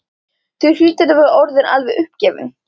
Þú hlýtur að vera orðinn alveg uppgefinn.